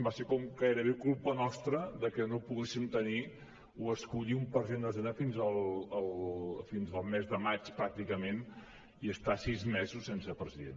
va ser com gairebé culpa nostra que no poguéssim tenir o escollir un president de la generalitat fins al mes de maig pràcticament i estar sis mesos sense president